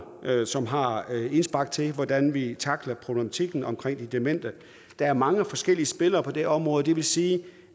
som har indspark til hvordan vi takler problematikken omkring de demente der er mange forskellige spillere på det område det vil sige